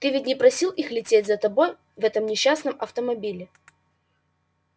ты ведь не просил их лететь за тобой в этом несчастном автомобиле